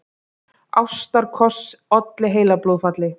Ástarkoss olli heilablóðfalli